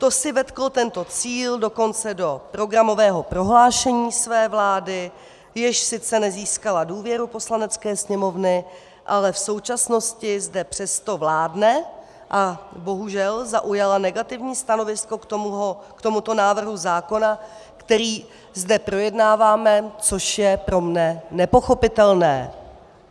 To si vetklo tento cíl dokonce do programového prohlášení své vlády, jež sice nezískala důvěru Poslanecké sněmovny, ale v současnosti zde přesto vládne a bohužel zaujala negativní stanovisko k tomuto návrhu zákona, který zde projednáváme, což je pro mne nepochopitelné.